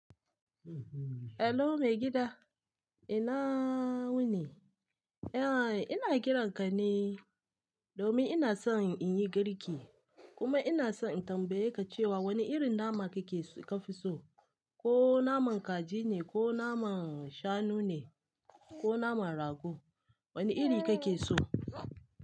Hello maigida, ina wuni. Ya, ina kiran ka ne domin ina so in yi girki kuma ina so in tambaye ka cewa wane irin nama kake ka fi so, ko naman kaji ne, ko naman shanu ne, ko naman rago, wane iri kake so?